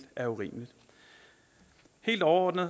er urimeligt helt overordnet